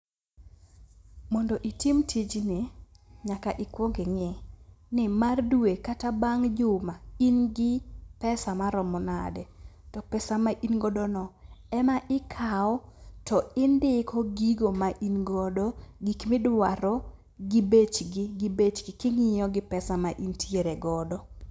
Mondo itim tijni nyaka ikuong ing'e ni mar due kata bang' juma in gi pesa maromo nade? To pesa ma ingodono ema ikaw to indiko gigo ma ingodo, gik midwaro gich bechgi king'iyo gi pesa ma intiere godo.